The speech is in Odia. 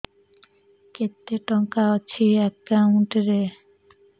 କେତେ ଟଙ୍କା ଅଛି ଏକାଉଣ୍ଟ୍ ରେ